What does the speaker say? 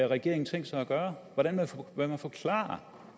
regeringen tænkt sig at gøre hvordan vil man forklare